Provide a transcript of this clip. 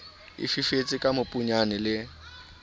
e fifetse ke mobunyana le